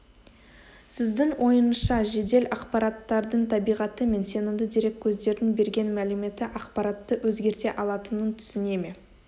сіздің ойыңызша жедел ақпараттардың табиғаты мен сенімді дереккөздердің берген мәліметі ақпаратты өзгерте алатынын түсіне ме